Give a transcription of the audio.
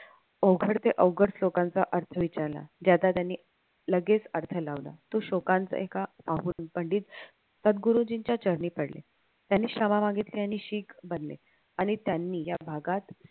अवघड ते अवघड श्लोकांचा अर्थ विचारला ज्याचा त्यांनी लगेच अर्थ लावला तो शोकांत एका अघोरी पंडित सदगुरुजींच्या चरणी पडले. त्यांनी क्षमा मागितली आणि शिख बनले. आणि त्यांनी या भागात